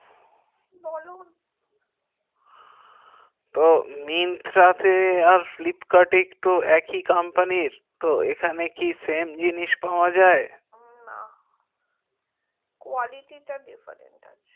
তো myntra তে আর flipkart এ তো একই company তো এখানে কি সিম জিনিস পাওয়া যাই না quality difference আছে